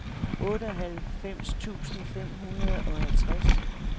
otteoghalvfems tusind fem hundrede og halvtreds